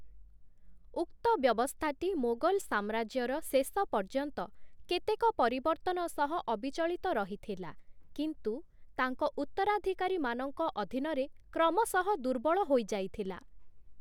ଉକ୍ତ ବ୍ୟବସ୍ଥାଟି ମୋଗଲ ସାମ୍ରାଜ୍ୟର ଶେଷ ପର୍ଯ୍ୟନ୍ତ କେତେକ ପରିବର୍ତ୍ତନ ସହ ଅବିଚଳିତ ରହିଥିଲା, କିନ୍ତୁ ତାଙ୍କ ଉତ୍ତରାଧିକାରୀମାନଙ୍କ ଅଧୀନରେ କ୍ରମଶଃ ଦୁର୍ବଳ ହୋଇଯାଇଥିଲା ।